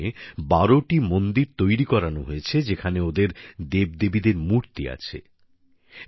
আশ্রমে বারোটি মন্দির তৈরী করানো হয়েছে যেখানে ওদের দেবদেবীদের মূর্তি আছে